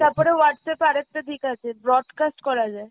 তাপরে Whatsapp এ আর একটা দিক আছে broadcast করা যায়।